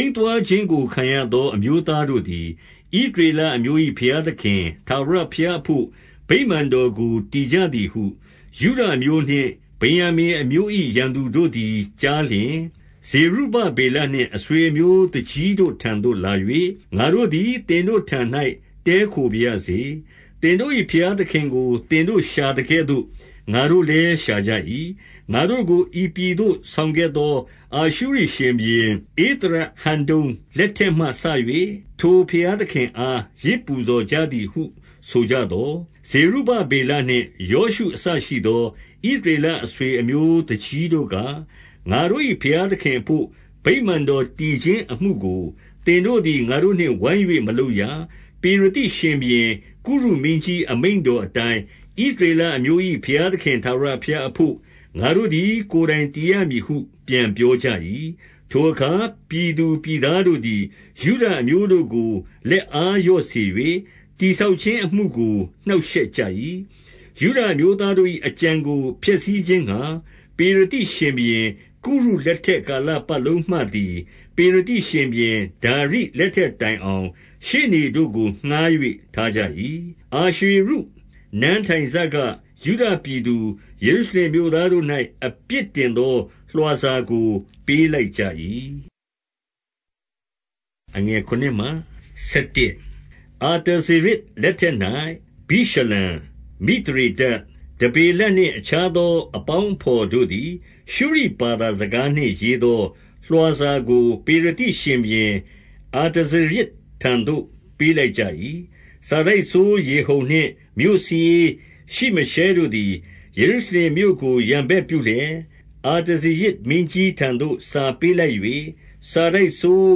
ိမ်းသွားခြင်းကိုခံရသော အမျိုးသားတို့သည်၊ ဣသရေလအမျိုး၏ ဘုရားသခင် ထာဝရဘုရားအဘို့ ဗိမာန်တော်ကို တည်ကြသည်ဟု ယုဒအမျိုးနှင့် ဗင်္ယာမိန်အမျိုး၏ ရန်သူတို့သည် ကြားလျှင်၊ 2 ဇေရုဗဗေလနှင့် အဆွေအမျိုး သူကြီးတို့ထံသို့ လာ၍၊ ငါတို့သည် သင်တို့ထံ၌ တည်းခိုပါရစေ။ သင်တို့၏ ဘုရားသခင်ကို သင်တို့ရှာသကဲ့သို့ ငါတို့လည်း ရှာကြ၏။ ငါတို့ကို ဤပြည်သို့ဆောင်ခဲ့သော အာရှုရိရှင်ဘုရင် ဧသရဟဒ္ဒုန်လက်ထက်မှ၍ ထိုဘုရားသခင်အား ယဇ် ပူဇော်ကြသည်ဟု ဆိုကြသော်၊ 3 ဇေရုဗဗေလနှင့် ယောရှုအစရှိသော ဣသ ရေလအဆွေအမျိုး သူကြီးတို့က၊ ငါတို့၏ဘုရားသခင် အဘို့ ဗိမာန်တော်တည်ခြင်းအမှုကို၊ သင်တို့သည် ငါတို့နှင့် ဝိုင်း၍ မလုပ်ရ။ ပေရသိရှင်ဘုရင်ကုရုမင်းကြီး အမိန့် တော်အတိုင်း၊ ဣသရေလအမျိုး၏ ဘုရားသခင် ထာဝရ ဘုရားအဘို့ ငါတို့သည် ကိုယ်တိုင်တည်ရမည်ဟု ပြန်ပြော ကြ၏။ 4 ထိုအခါ ပြည်သားတို့သည် ယုဒအမျိုးတို့ကို လက်အားလျော့စေ၍၊ တည်ဆောက်ခြင်းအမှုကို နှောင့်ရှက်ကြ၏။ 5 ယုဒအမျိုးသားတို့၏ အကြံကိုဖျက်ဆီးခြင်းငှါ၊ ပေရသိရှင်ဘုရင် ကုရုလက်ထက်ကာလပတ်လုံးမှသည်၊ ပေရသိရှင်ဘုရင် ဒါရိလက်ထက်တိုင် အောင်၊ ရှေ့နေ တို့ကို ငှါး၍ထားကြ၏။ 6 အာရွှေရုနန်းထိုင်စက ယုဒပြည်သူ၊ ယေရုရှလင် မြို့သားတို့၌ အပြစ်တင်သောလွှာစာကို ပေးလိုက်ကြ၏။ 7 အာတဇေရဇ်လက်ထက်၌ ဗိရှလံ၊ မိသရေဒတ်၊ တဗေလနှင့် အခြားသောအေပေါင်းအဘော်တို့သည်၊ ရှုရိဘာသာစကားနှင့် ရေးသော လွှာစာကို၊ ပေရသိ ရှင်ဘုရင် အာတဇေရဇ်ထံသို့ ပေးလိုက်ကြ၏။ 8 စာတိုက်စိုးရေဟုံနှင့် မြို့စာရေးရှိမရှဲတို့သည်၊ ယေရုရှလင်မြို့ကို ရန်ဘက်ပြုလျက်၊ အာတဇေရဇ် မင်းကြီးထံသို့ စာပေးလိုက်၍၊ 9 စာတိုက်စိုး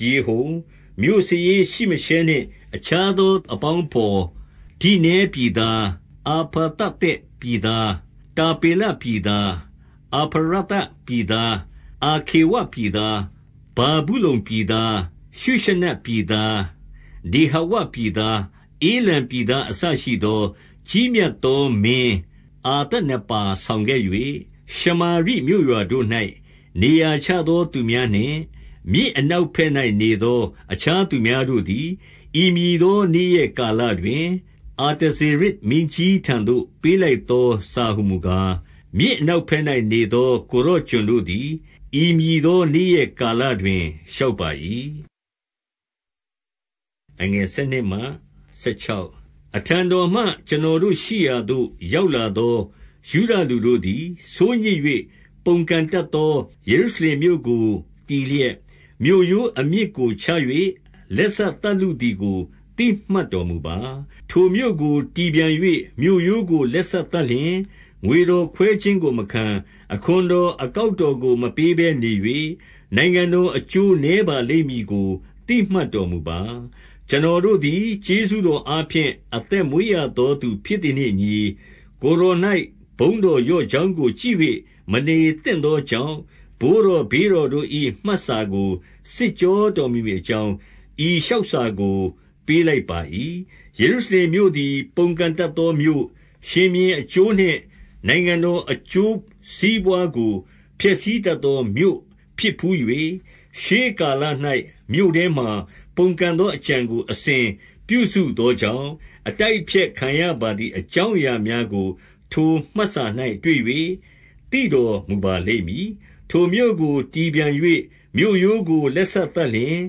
ရေဟုံ၊ မြို့စာရေးရှိမရှဲနှင့် အခြားသော အပေါင်းအဘော်၊ ဒိနဲပြည်သား၊ အဖာသသက်ပြည်သား၊ တာပေလပြည်သား၊ အဖာရသပြည်သား၊ အာခေဝပြည် သား၊ ဗာဗုလုန်ပြည်သား၊ ရှုရှနက်ပြည်သား၊ ဒေဟဝ ပြည်သား၊ ဧလံပြည်သား အစရှိသော၊ 10 ကြီးမြတ်သောမင်း အာသနပ္ပါးဆောင်ခဲ့၍၊ ရှမာရိမြို့ရွာတို့၌ နေရာချသော သူများနှင့်၊ မြစ်နောက် ဘက်၌နေသော အခြားသူများတို့သည်၊ ဤမည်သော နေ့ရက်ကာလတွင်၊ 11 အာတဇေရဇ် မင်းကြီးထံသို့ပေးလိုက်သော စာဟူမူကား၊ မြစ်အနောက်ဘက်၌နေသော ကိုယ်တော် ကျွန်တို့သည်၊ ဤမည်သောနေ့ ရက်ကာလတွင် လျှောက် ပါ၏။ 12 အထံတော်မှ ကျွန်တော်တို့ရှိရာသို့ ရောက်လာသော ယုဒလူတို့သည် ဆိုးညစ်၍၊ ပုန်ကန်တတ်သော ယေရု ရှလင်မြို့ကို တည်လျက်၊ မြို့ရိုးအမြစ်ကိုချ၍ လက်စသတ် လုသည်ကို သိမှတ်တော်မူပါ။ 13 ထိုမြို့ကိုတည်ပြန်၍ မြို့ရိုးကိုလက်စသတ်လျှင်၊ ငွေတော်ခွဲခြင်းကိုမခံ၊ အခွန်တော်အကောက်တော်ကို မပေးဘဲနေ၍၊ နိုင်ငံတော်အကျိုးနည်းပါလိမ့်မည်ကို သိမှတ်တော်မူပါ။ 14 ကျွန်တော်တို့သည် ကျေးဇူးတော်အားဖြင့် အသက်မွေးရသော သူဖြစ်သည်နှင့်အညီ၊ ကိုယ်တော်၌ ဘုန်းတော်လျော့ကြောင်းကို ကြည့်၍မ နေသင့်သော ကြောင့်၊ ဘိုးတော်ဘေးတော်တို့၏မှတ်စာကို စစ်ကြော တော်မူမည်အကြောင်း ဤလျှောက်စာကို ပေးလိုက်ပါ၏။ 15 ယေရုရှလင်မြို့သည် ပုန်ကန်တတ်သောမြို့၊ ရှင်ဘုရင်အကျိုးနှင့် နိုင်ငံတော်အကျိုးစီးပွားကို ဖျက်ဆီး တတ်သောမြို့ဖြစ်ဘူး၍၊ ရှေးကာလ၌ မြို့ထဲမှာ ပုန်ကန် သောအကြံကို အစဉ်ပြုစုသောကြောင့်၊ အတိုက်အဖျက်ခံ ရပါသည် အကြောင်းအရာများကို ထိုမှတ်စာ၌ တွေ့၍ သိတော်မူပါလိမ့်မည်။ 16 ထိုမြို့ကိုတည်ပြန်၍ မြို့ရိုးကို လက်စသတ်လျှင်၊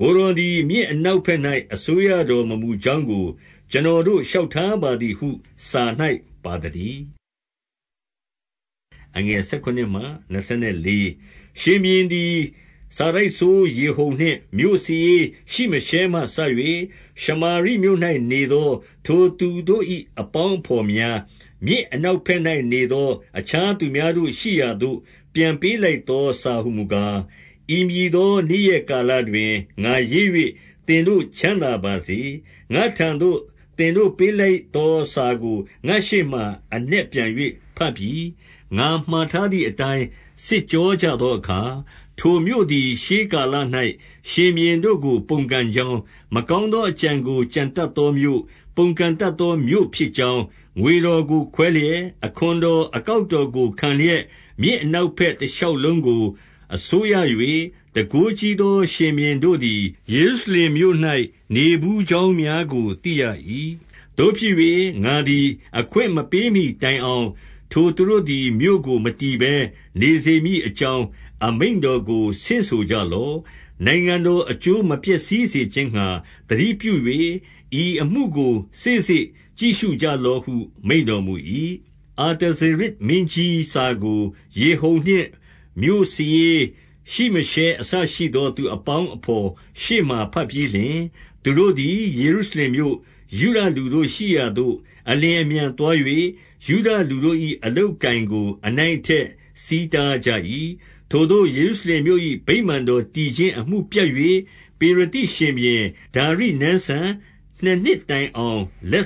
ကိုယ်တော်သည် မြစ်အနောက်ဘက်၌ အစိုးရတော်မမူ ကြောင်းကို ကျွန်တော်တို့ လျှောက်ထားပါသည်ဟု စာ၌ ပါသတည်း။ 17 ရှင်ဘုရင်သည် စာတိုက်စိုးရေဟုံနှင့်မြို့စာရေး ရှိမရှဲမှစ၍၊ ရှမာရိမြို့၌နေသော ထိုသူတို့၏ အပေါင်း အဘော်များ၊ မြစ်အနောက်ဘက်၌နေသော အခြား သူများတို့ ရှိရာသို့ ပြန်ပေးလိုက်သော စာဟူမူကား၊ 18 ဤမည်သောနေ့ရက်ကာလတွင်၊ ငါရေး၍ သင်တို့ချမ်းသာပါစေ။ ငါ့ထံသို့သင်တို့ ပေးလိုက်သောစာကို ငါ့ရှေ့မှာ အနက်ပြန်၍ဘတ်ပြီ။ 19 ငါမှာထားသည်အတိုင်း စစ်ကြောကြသောအခါ၊ ထိုမြို့သည် ရှေးကာလ၌ ရှင်ဘုရင်တို့ကို ပုန်ကန်ကြောင်း၊ မကောင်းသောအကြံကို ကြံတတ်သောမြို့၊ ပုန်ကန်တတ် သော မြို့ဖြစ်ကြောင်း၊ 20 ငွေတော်ကိုခွဲလျက်၊ အခွန်တော်အကောက် တော်ကိုခံလျက်၊ မြစ်အနောက်ဘက် တရှောက်လုံးကို အစိုးရ၍ တန်ခိုးကြီးသော ရှင်ဘုရင်တို့သည် ယေရုရှလင် မြို့၌နေဘူးကြောင်းများကို သိရ၏။ 21 သို့ဖြစ်၍ ငါသည်အခွင့်မပေးမှီတိုင်အောင်၊ ထိုသူတို့သည် မြို့ကို မတည်ဘဲနေစေမည်အကြောင်း အမိန့်တော်ကိုဆင့်ဆိုကြလော့။ 22 နိုင်ငံတော်အကျိုးမပျက်စီးစေခြင်းငှါ သတိပြု၍ ဤအမှုကို စေ့စေ့ကြည့်ရှုကြလော့ဟု မိန့်တော်မူ၏။ 23 အာတဇေရဇ်မင်းကြီးစာကို ရေဟုံနှင့်မြို့စာရေး ရှိမရှဲ အစရှိသော သူတို့အပေါင်းအဘော်ရှေ့မှာ ဘတ်ပြီး လျှင်၊ သူတို့သည် ယေရုရှလင်မြို့၊ ယုဒလူတို့ရှိရာသို့ အလျင်အမြန်သွား၍ ယုဒလူတို့၏ အလုပ်အကိုင်ကို အနိုင်အထက်ဆီးတားကြ၏။ 24 ထိုသို့ ယေရုရှလင်မြို့၏ ဗိမာန်တော် တည်ခြင်း အမှုပြတ်၍၊ ပေရသိရှင်ဘုရင် ဒါရိနန်းစံ နှစ်နှစ်တိုင် အောင် လက်